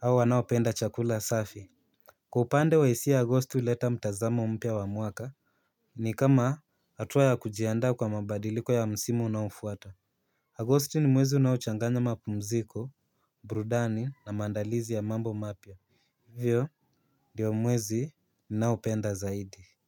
au wanaopenda chakula safi. Kwa upande wa hisia Agosti huleta mtazamo mpya wa mwaka. Ni kama hatua ya kujianda kwa mabadiliko ya msimu unaofuata Agosti ni mwezi unaochanganya mapumziko, burudani na maandalizi ya mambo mapya. Hiyo ndio mwezi ni naopenda zaidi.